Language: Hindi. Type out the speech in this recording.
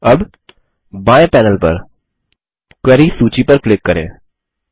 अब बाएँ पैनल पर क्वेरीज सूची पर क्लिक करें